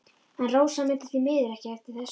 En Rósa mundi því miður ekki eftir þessu.